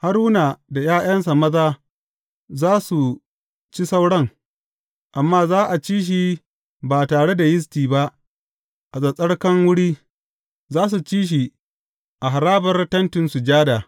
Haruna da ’ya’yansa maza za su ci sauran, amma za a ci shi ba tare da yisti ba a tsattsarkan wuri; za su ci shi a harabar Tentin Sujada.